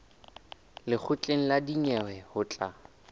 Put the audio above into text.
lekgotleng la dinyewe ho tla